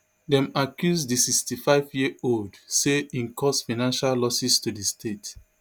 dem accuse di sixty-fiveyearold say e cause financial losses to di state